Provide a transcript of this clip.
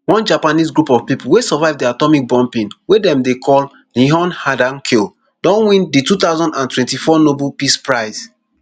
one japanese group of pipo wey survive di atomic bombing wey dem dey call nihon hidankyo don win di two thousand and twenty-four nobel peace prize